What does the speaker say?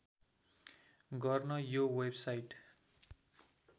गर्न यो वेबसाइट